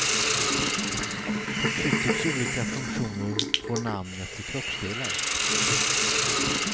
Förtryckets olika funktioner får namn efter kroppsdelar.